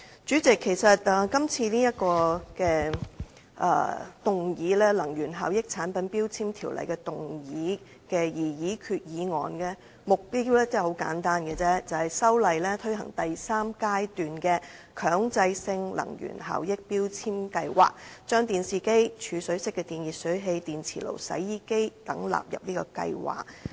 主席，這項根據《能源效益條例》動議的擬議決議案，目標十分簡單，就是藉修例推行第三階段強制性能源效益標籤計劃，把電視機、儲水式電熱水器、電磁爐、洗衣機等納入計劃。